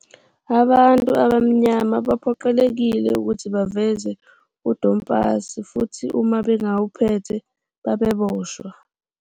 Abantu abamnyama babephoqelekile ukuthi baveze udompasi futhi uma bengawuphethe, babeboshwa.